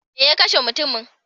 Me ya kashe mutumin?